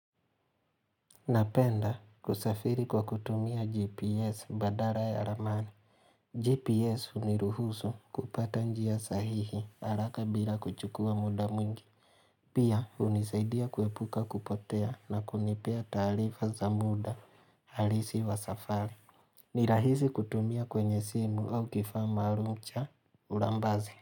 Napenda kusafiri kwa kutumia GPS badala ya ramani. GPS huniruhusu kupata njia sahihi haraka bila kuchukua muda mwingi. Pia hunisaidia kuepuka kupotea na kunipea taarifa za muda halisi wa safari. Ni rahisi kutumia kwenye simu au kifaa maarufu cha ulambaze.